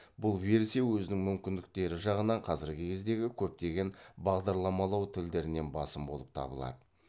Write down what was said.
бұл версия өзінің мүмкіндері жағынан қазіргі кездегі көптеген бағдарламалау тілдерінен басым болып табылады